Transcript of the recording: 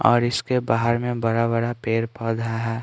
और इसके बाहर में बड़ा-बड़ा पेड़ पौधा है।